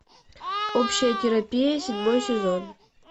общая терапия седьмой сезон